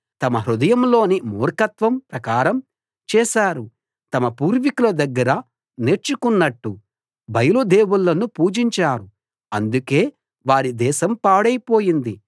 తమ హృదయంలోని మూర్ఖత్వం ప్రకారం చేశారు తమ పూర్వికుల దగ్గర నేర్చుకున్నట్టు బయలు దేవుళ్ళను పూజించారు అందుకే వారి దేశం పాడైపోయింది